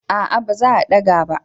A'a ba za daga ba